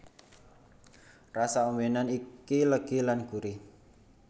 Rasa ombènan iki legi lan gurih